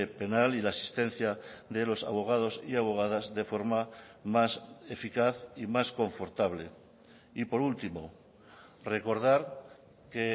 penal y la asistencia de los abogados y abogadas de forma más eficaz y más confortable y por último recordar que